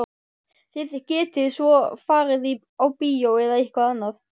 Þið getið svo farið á bíó eða eitthvað annað.